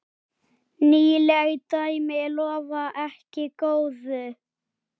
Nýleg dæmi lofa ekki góðu.